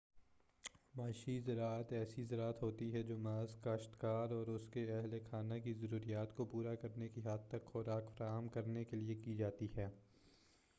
معاشی زراعت ایسی زراعت ہوتی ہے جو محض کاشت کار اور اس کے اہل خانہ کی ضروریات کو پورا کرنے کی حد تک خوراک فراہم کرنے کے لیے کی جاتی ہے